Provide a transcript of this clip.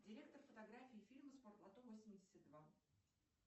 директор фотографии фильма спортлото восемьдесят два